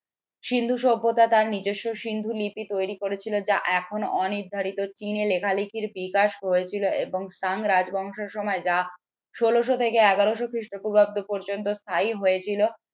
সিন্ধু সভ্যতা তার নিজস্ব সিন্ধু লিপি তৈরি করেছিল যা এখনো অনির্ধারিত চিহ্নে লেখালেখির বিকাশ হয়েছিল এবং রাজ বংশের সময় যা, ষোলো শ থেকে এগারো শ খ্রিষ্টপূর্বাব্দ পর্যন্ত স্থায়ী হয়েছিল